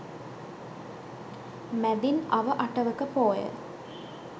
මැදින් අව අටවක පෝය